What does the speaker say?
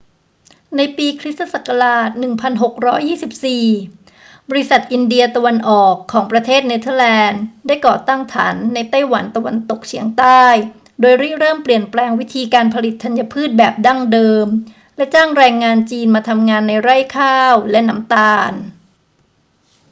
ในปีค ศ. 1624 บริษัทอินเดียตะวันออกของประเทศเนเธอร์แลนด์ ได้ก่อตั้งฐานในไต้หวันตะวันตกเฉียงใต้ โดยริเริ่มเปลี่ยนแปลงวิธีการผลิตธัญพืชแบบดั้งเดิมและจ้างแรงงานจีนมาทำงานในไร่ข้าวและน้ำตาล